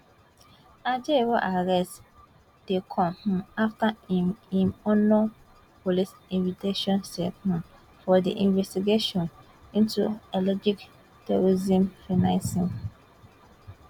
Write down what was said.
ajaero arrest dey come um afta im im honour police invitation sake um of di investigation into alleged terrorism financing